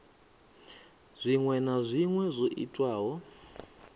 zwinwe na zwinwe zwo itwaho